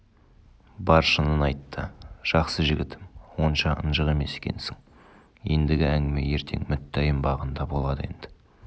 бар шынын айтты жақсы жігітім онша ынжық емес екенсің ендігі әңгіме ертең мүттәйім бағында болады енді